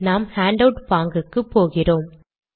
நாம் ஹேண்டவுட் பாங்குக்கு போகிறோம்